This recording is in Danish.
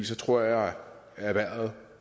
så tror jeg at erhvervet